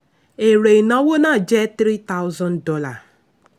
èrè ìnáwó náà jẹ́ three thousand dollar.